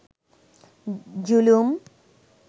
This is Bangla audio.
জুলুম